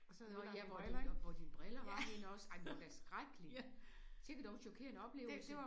Nåh ja hvor dine hvor dine briller var henne også. Ej men det var da skrækkeligt. Skikke dog en chokerende oplevelse